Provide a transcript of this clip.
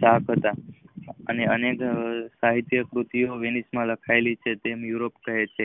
સાથ હતા. અનેક સહિતકૃતિઓ વેણીશ માં લખાવેલી છે તેમ યુરોપ કહે છે.